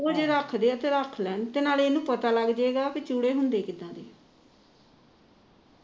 ਉਹ ਜਾ ਰੱਖ ਦੇ ਆ ਤਾਂ ਰੱਖ ਲੈਣ ਨਾਲੇ ਪਤਾ ਲੱਗ ਜਾਵੇਗਾ ਚੂੜੇ ਹੁੰਦੇ ਕਿਦਾ ਦੇ ਨੇ